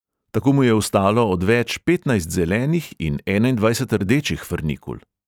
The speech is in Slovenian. Tako mu je ostalo odveč petnajst zelenih in enaindvajset rdečih frnikul.